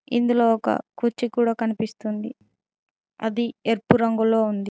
ఇందులో ఒక కుర్చీ కూడా కనిపిస్తుంది అది ఎరుపు రంగులో ఉంది.